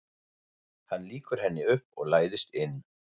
Hann lýkur henni upp og læðist inn.